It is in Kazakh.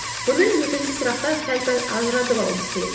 бұны екінші сұрақтан сәл пәл ажыратып алуымыз керек